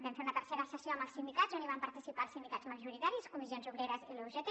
vam fer la tercera sessió amb els sindicats on van participar els sindicats majoritaris comissions obreres i la ugt